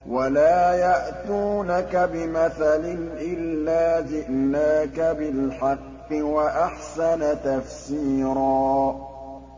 وَلَا يَأْتُونَكَ بِمَثَلٍ إِلَّا جِئْنَاكَ بِالْحَقِّ وَأَحْسَنَ تَفْسِيرًا